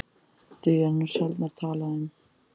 Því er nú sjaldnar talað um